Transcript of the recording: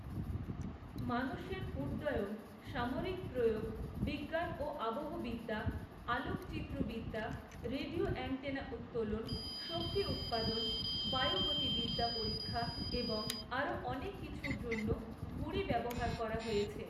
মানুষের উড্ডয়ন, সামরিক প্রয়োগ, বিজ্ঞান ও আবহবিদ্যা, আলোকচিত্ৰবিদ্যা, রেডিও অ্যান্টেনা উত্তোলন, শক্তি উৎপাদন, বায়ুগতিবিদ্যা পরীক্ষা, এবং আরও অনেক কিছুর জন্য ঘুড়ি ব্যবহার করা হয়েছে।